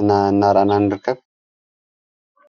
እና እናራእና ን ድርከብ።